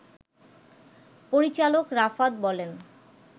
পরিচালক রাফাত বলেন